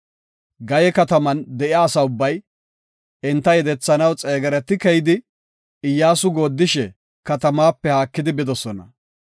Gaye kataman de7iya asa ubbay, enta yedethanaw xeegereti keyidi, Iyyasu goodishe katamaape haakidi bidosona.